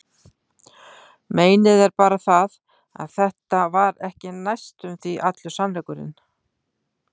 Meinið er bara það, að þetta var ekki næstum því allur sannleikurinn.